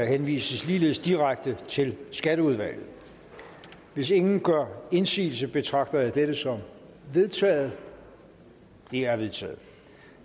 henvises ligeledes direkte til skatteudvalget hvis ingen gør indsigelse betragter jeg dette som vedtaget det er vedtaget